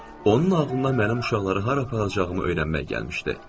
Onun ağlına mən uşaqları hara aparacağımı öyrənmək gəlmişdi.